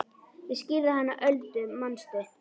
Ég skírði hana Öldu manstu.